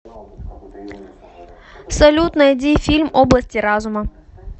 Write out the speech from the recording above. салют найди фильм области разума